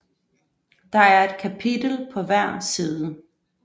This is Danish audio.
Der er et kapitel på hver side